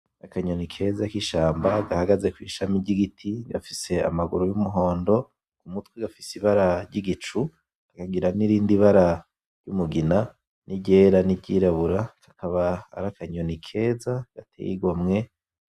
Akanyoni keza k'ishamba gahagaze kw'ishami ry'igiti gafise amaguru y'umuhondo k'umutwe ,gafise ibara ry'igicu kakagira n'irindi bara ry'umugina n'iryera n'iryirabura ,kakaba arakanyoni keza gateye igomwe.